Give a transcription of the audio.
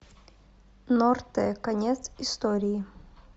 норте конец истории